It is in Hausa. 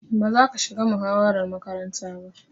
Ba za ka shiga muhawarar makaranta ba.